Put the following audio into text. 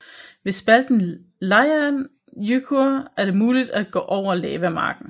Ved spalten Leirhnjúkur er det muligt at gå over lavamarken